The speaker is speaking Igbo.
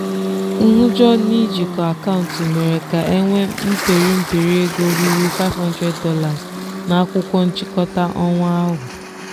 nhụjọ n'ijikọ akaụntụ mere ka e nwee mperi mperi ego ruru $500 na akwụkwọ nchịkọta ọnwa ahụ.